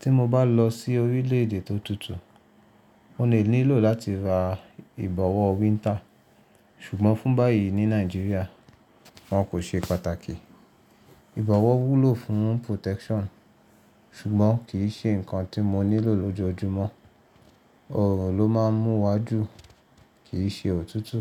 Tí mo bá lọ sí orílẹ̀ èdè tó tutù, mo lè nílò láti ra ìbọ̀wọ́ winter. Ṣùgbọ́n fún báyìí ní Nàìjíríà, wọn kò ṣe pàtàkì. Ìbọ̀wọ́ wúlò fún protection ṣùgbọ́n kì í ṣe nǹkan tí mo nílò lójoojúmọ́. Òòrùn ló máa ń mú wa jù, kì í ṣe òtútù.